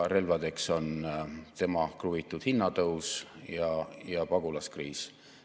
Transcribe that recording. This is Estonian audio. Relvadeks on tema kruvitud hinnatõus ja pagulaskriis.